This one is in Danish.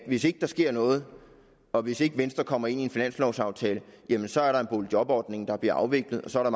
hvis ikke der sker noget og hvis ikke venstre kommer med i en finanslovaftale så er der en boligjobordning der bliver afviklet og så er